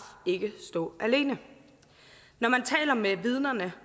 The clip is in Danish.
ikke stå alene når man taler med vidnerne